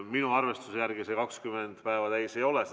Minu arvestuse järgi see 20 päeva täis ei ole.